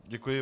Děkuji.